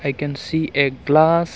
we can see a glass.